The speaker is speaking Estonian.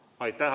Aitäh!